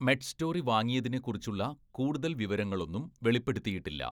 Medstory വാങ്ങിയതിനെക്കുറിച്ചുള്ള കൂടുതൽ വിവരങ്ങളൊന്നും വെളിപ്പെടുത്തിയിട്ടില്ല.